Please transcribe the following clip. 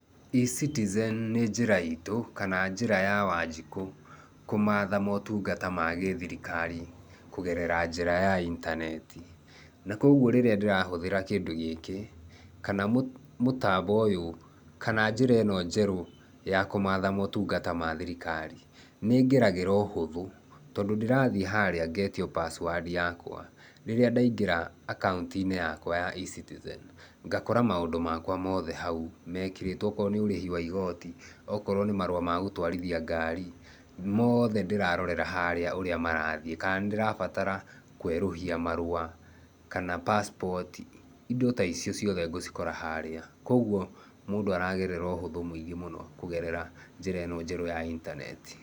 E-citizen nĩ njĩra itũ kana njĩra ya wanjikũ kũmatha motungata ma gĩthirikari kũgerera njĩra ya intaneti. Na koguo rĩrĩa ndĩrahũthĩra kĩndũ gĩkĩ, kana mũtambo ũyũ, kana njĩra ĩno njerũ ya kũmatha motungata ma thirikari, nĩngeragĩra ũhũthũ tondũ ndĩrathiĩ harĩa ngetio password yakwa rĩrĩa ndaingĩra akaũntinĩ yakwa ya e-citizen. Ngakora maũndũ makwa mothe hau mekĩrĩtwo akorwo nĩ ũrĩhi wa igoti, akorwo nĩ marũa ma gũtwarithia ngari mothe ndĩrarorera harĩa ũrĩa marathiĩ kana nĩndĩrabatara kwerũhia marũa kana pasipoti indo ta icio ciothe ngũcikora harĩa. Koguo mũndũ aragerera ũhũthũ mũingĩ mũno kũgerera njĩra ĩno njerũ ya intaneti.